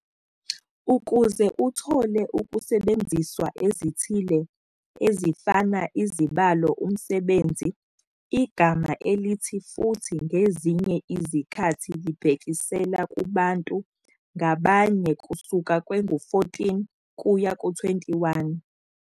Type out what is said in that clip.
Ukuze uthole ukusebenziswa ezithile, ezifana izibalo umsebenzi, igama elithi futhi ngezinye izikhathi libhekisela kubantu ngabanye kusuka kwengu-14 kuya 21.